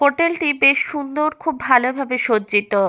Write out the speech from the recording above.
হোটেলটি বেশ সুন্দর খুব ভালোভাবে সজ্জিত।